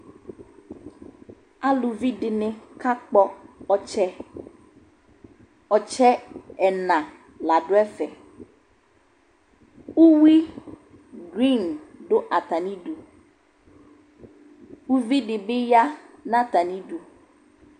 Aluvi dɩnɩ kakpɔ ɔtsɛ Ɔtsɛ yɛ ɛna la dʋ ɛfɛ Uyui duin dʋ atamɩdu, uvi dɩ bɩ ya nʋ atamɩdu